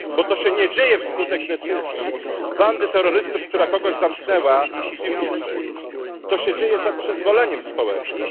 Bo to się nie dzieje wskutek decyzji bandy terrorystów, która kogoś zamknęła w piwnicy. To się dzieje za przyzwoleniem społecznym.